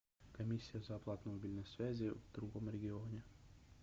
комиссия за оплату мобильной связи в другом регионе